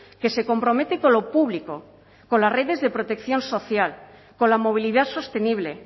que se compromete con lo público con las redes de protección social con la movilidad sostenible